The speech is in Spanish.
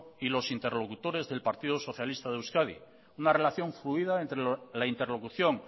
y los interlocutores del partido socialista de euskadi una relación fluida entre la interlocución